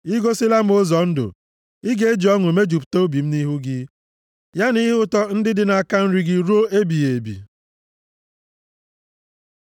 I gosila m ụzọ ndụ; ị ga-eji ọṅụ mejupụta obi m nʼihu gị; ya na ihe ụtọ ndị dị nʼaka nri gị ruo ebighị ebi.